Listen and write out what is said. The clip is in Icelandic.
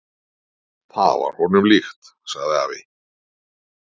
"""Það var honum líkt, sagði afi."""